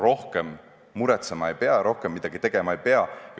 Rohkem muretsema ei pea, rohkem midagi tegema ei pea.